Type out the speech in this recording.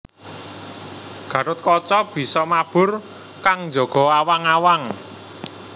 Gatotkaca bisa mabur kang njaga awang awang